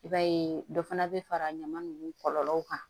I b'a ye dɔ fana bɛ fara ɲama ninnu kɔlɔlɔw kan